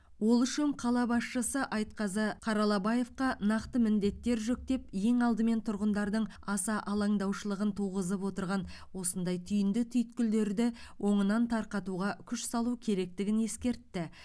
ол үшін қала басшысы айтқазы қаралабаевқа нақты міндеттер жүктеп ең алдымен тұрғындардың аса алаңдаушылығын туғызып отырған осындай түйінді түйткілдерді оңынан тарқатуға күш салу керектігін ескертті